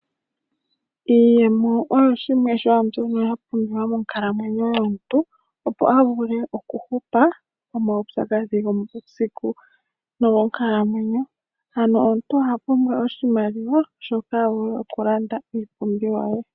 Iimeno oyo shimwe shaambyono yapumbiwa monkalamwenyo yomuntu, opo avule okuhupa momaupyakadhi gomuusiku nogonkalamwenyo. Omuntu oha pumbwa shoka avule okulanda iipumbiwa ye.